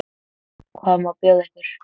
Hvað má bjóða ykkur?